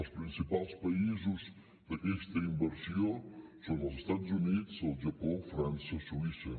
els principals països d’aquesta inversió són els estats units el japó frança suïssa